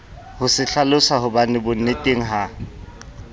ho se hlalosahobane bonneteng ha